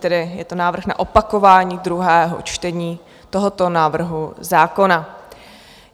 Tedy je to návrh na opakování druhého čtení tohoto návrhu zákona.